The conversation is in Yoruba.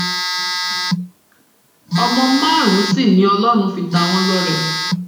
ọmọ márùnún sì ni ọlọrun fi ta wọn lọrẹ